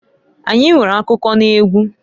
Anyi nwere akụkụ n'egwu.